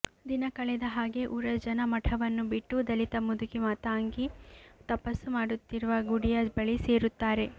ದಿನ ಕಳೆದ ಹಾಗೆ ಊರ ಜನ ಮಠವನ್ನು ಬಿಟ್ಟು ದಲಿತ ಮುದುಕಿ ಮಾತಂಗಿ ತಪಸ್ಸು ಮಾಡುತ್ತಿರುವ ಗುಡಿಯ ಬಳಿ ಸೇರುತ್ತಾರೆ